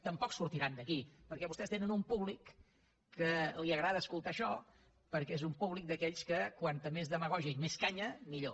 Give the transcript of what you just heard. tampoc sortiran d’aquí perquè vostès tenen un públic a qui li agrada escoltar això perquè és un públic d’aquells que com més demagògia i més canya millor